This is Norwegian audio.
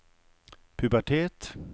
pubertet